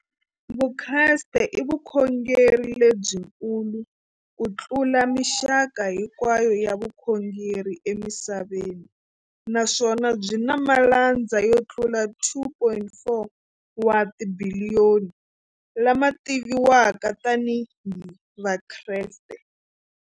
Vukreste i vukhongeri lebyi kulu kutlula mixaka hinkwayo ya vukhongeri emisaveni, naswona byi na malandza yo tlula 2.4 wa tibiliyoni, la ma tiviwaka tani hi Vakreste.